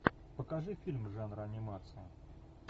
покажи фильм жанра анимация